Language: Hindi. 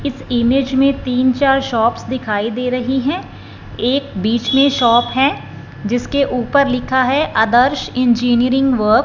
इस इमेज में तीन चार शॉप्स दिखाई दे रही है एक बीच में शॉप है जिसके ऊपर लिखा है आदर्श इंजीनियरिंग वर्क --